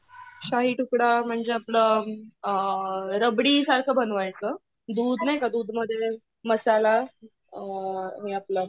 शाही तुकडा म्हणजे आपलं अ रबडी सारखं बनवायचं, दूध नाही का दूधमध्ये मसाला अ आणि आपला